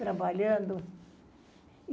trabalhando.